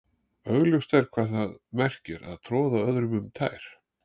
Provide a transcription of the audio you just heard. Augljóst er hvað það merkir að troða öðrum um tær.